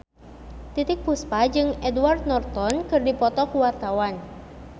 Titiek Puspa jeung Edward Norton keur dipoto ku wartawan